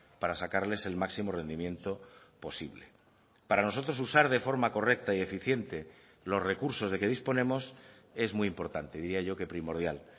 para sacarles el máximo rendimiento posible para nosotros usar de forma correcta y eficiente los recursos de que disponemos es muy importante diría yo que primordial